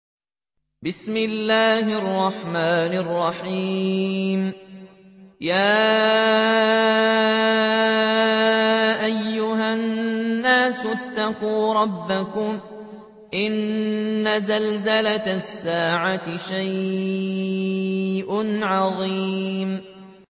يَا أَيُّهَا النَّاسُ اتَّقُوا رَبَّكُمْ ۚ إِنَّ زَلْزَلَةَ السَّاعَةِ شَيْءٌ عَظِيمٌ